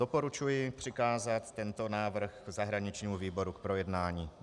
Doporučuji přikázat tento návrh zahraničnímu výboru k projednání.